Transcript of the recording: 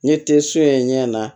Ɲɛ tɛ so in ɲɛ na